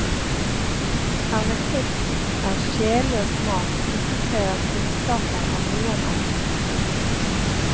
Hermetikk er sjelløs mat som ikke krever kunnskaper av noen art.